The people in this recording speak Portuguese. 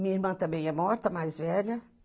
Minha irmã também é morta, mais velha.